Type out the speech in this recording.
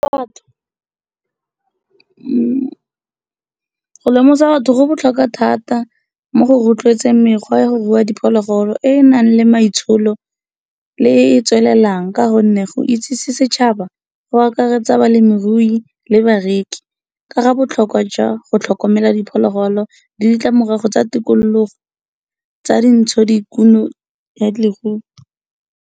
Go lemosa batho go botlhokwa thata mo go roetletseng mekgwa ya go rua diphologolo, e enang le maitsholo le e tswelelang ka gonne go itsisi setšhaba go akaretsa balemirui le bareki kaga botlhokwa jwa go tlhokomela diphologolo le ditlamorago tsa tikologo tsa dintshokumo ya leruo.